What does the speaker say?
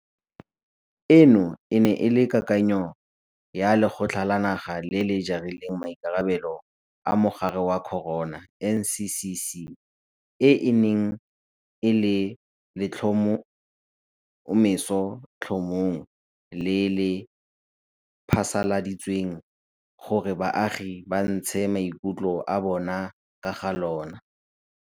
Eno e ne e le kakanyo ya Lekgotla la Naga le le Jarileng Maikarabelo a Mogare wa Corona NCCC, e e neng e le mo letlhomesotlhomong le le phasaladitsweng gore baagi ba ntshe maikutlo a bona ka ga lona.